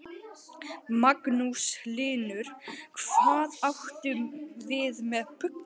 Magnús Hlynur: Hvað áttu við með bulli?